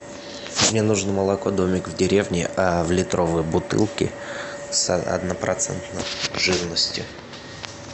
мне нужно молоко домик в деревне в литровой бутылке с однопроцентной жирностью